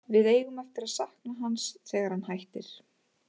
Við eigum eftir að sakna hans þegar hann hættir.